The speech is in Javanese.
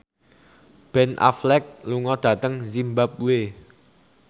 Ben Affleck lunga dhateng zimbabwe